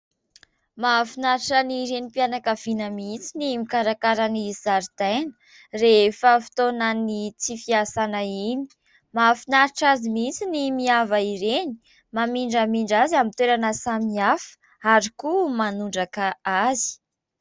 Mahafinaritra ny renim-mpianakaviana mihitsy ny mikarakara ny zaridaina rehefa fotoana ny tsy fiasana iny. Mahafinaritra azy mihitsy ny miava ireny, mamindramindra azy amin'ny toerana samihafa ary koa manondraka azy.